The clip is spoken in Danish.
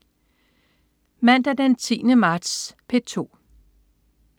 Mandag den 10. marts - P2: